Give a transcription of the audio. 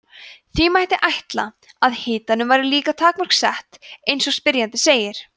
því mætti ætla að hitanum væri líka takmörk sett eins og spyrjandi segir